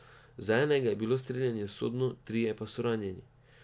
Za enega je bilo streljanje usodno, trije pa so ranjeni.